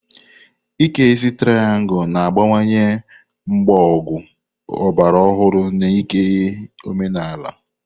Ike isi triangu na-agbakwunye mgbagọ ọgbara ọhụrụ na ịke omenala.